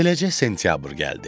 Beləcə sentyabr gəldi.